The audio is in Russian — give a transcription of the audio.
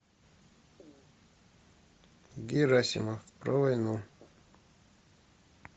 герасимов про войну